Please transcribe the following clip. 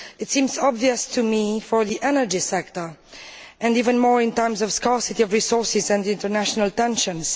It seems obvious to me in the energy sector, and even more in terms of scarcity of resources and international tensions.